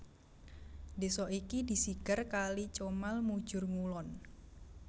Desa iki disigar kali Comal mujur ngulon